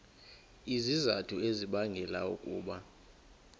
izizathu ezibangela ukuba